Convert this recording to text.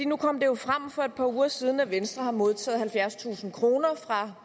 nu kom det jo frem for et par uger siden at venstre har modtaget halvfjerdstusind kroner fra